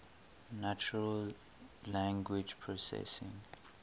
natural language processing